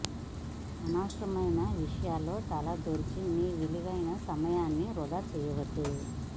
అనవసరమైన విషయాలలో తల దూర్చి మీ విలువైన సమయాన్ని వృథా చేయవద్దు